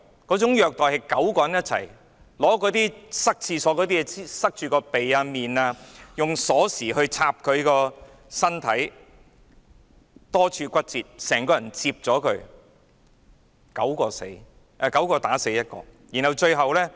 該9個人用廁所用具塞着他的鼻及臉，又用鎖匙插他的身體，導致多處骨折，整個人被摺疊，結果9人打死1人。